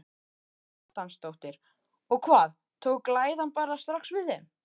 Karen Kjartansdóttir: Og hvað, tók læðan bara strax við þeim?